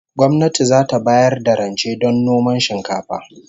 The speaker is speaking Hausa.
Gwamnati zata bayar da rance don noman shinkafa